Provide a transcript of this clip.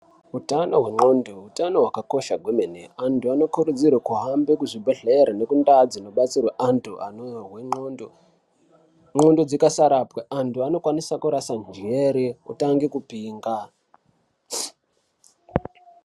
Utano hendxondo, hutano hwakakosha kwemene, antu anokurudzirwe kuhambe kuzvibhedhlere nekundau dzinodetserwe antu anohwendxondo. Ndxondo dzikasarapwa antu anokwanise kurase njxere otange kupenga.